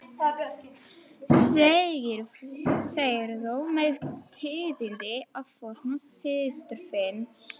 Segirðu mér tíðindi af Þórunni systur þinni?